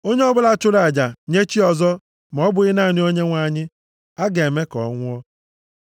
“Onye ọbụla chụrụ aja nye chi ọzọ ma ọ bụghị naanị Onyenwe anyị, a ga-eme ka ọ nwụọ.